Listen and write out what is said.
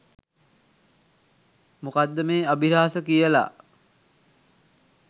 මොකක්ද මේ අභිරහස කියලා.